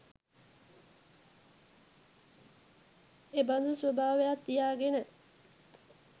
එබඳු ස්වභාවයක් තියාගෙන,